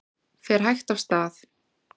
Fer hægt af stað